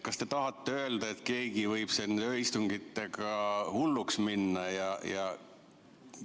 Kas te tahate öelda, et keegi võib siin ööistungitega hulluks minna?